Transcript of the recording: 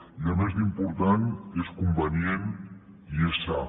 i a més d’important és convenient i és sa